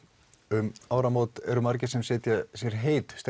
um áramót eru margir sem setja sér heit